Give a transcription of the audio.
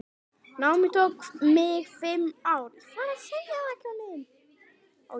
Námið tók mig fimm ár.